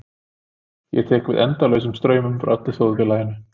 Ég tek við endalausum straumum frá öllu þjóðfélaginu.